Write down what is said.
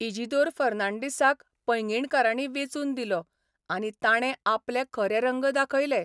इजिदोर फॅनॉडीसाक पैंगीणकारांनी वेंचून दिलो आनी ताणे आपले खरे रंग दाखयले.